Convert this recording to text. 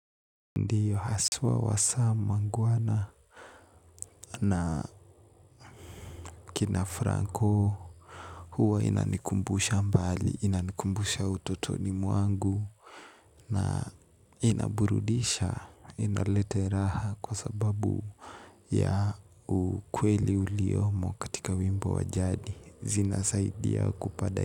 Ndiyo haswa wa Samuangwana na kina Franko huwa inanikumbusha mbali, inanikumbusha ututoni mwangu na inaburudisha, inalete raha kwa sababu ya ukweli uliyomo katika wimbo wa jadi zina saidia kupada.